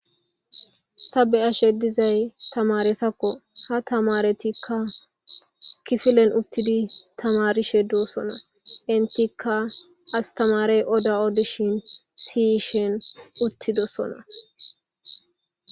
Ta beashe dizay tamaretakko ha tamaretikka kifilen uttidi tamarishe doosona intikka astamarey oda odishin siyishen uttidosona.